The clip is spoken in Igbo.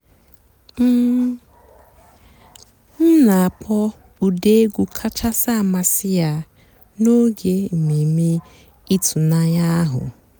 m nà-àkpọ́ ụ́dị́ ègwú kàchàsị́ àmásị́ yá n'óge èmèmé ị̀tụ́nànyá àhú́.